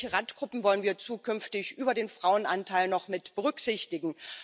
Welche Randgruppen wollen wir zukünftig über den Frauenanteil noch mitberücksichtigen?